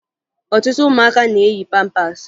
Ọtụtụ ụmụaka na-eyi pampaasị